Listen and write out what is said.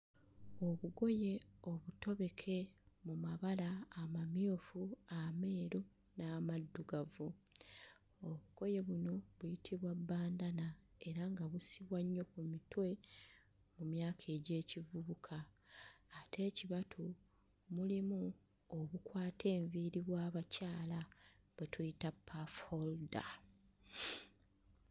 Obugoye obutobeke mu mabala amamyufu ameeru n'amaddugavu, obugoye buno buyitibwa bandana era nga busibwa nnyo ku mutwe mu myaka egy'ekivubuka, ate ekibatu mulimu obukwata enviiri bw'abakyala bwe tuyita puff holder.